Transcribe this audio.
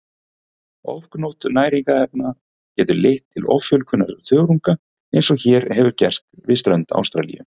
Ofgnótt næringarefna getur leitt til offjölgunar þörunga eins og hér hefur gerst við strönd Ástralíu.